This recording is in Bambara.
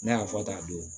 N'a y'a fɔ ta don